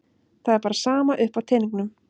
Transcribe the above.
Það er bara sama upp á teningnum.